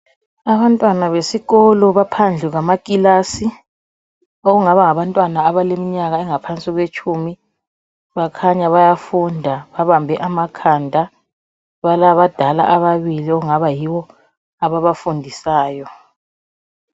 Abantwana besikolo baphandle kwamakilasi okungaba ngabantwana abaleminyaka engaphansi kwetshumi , bakhanya bayafunda babambe amakhanda balabadala ababili okungaba yibo ababafundisayo.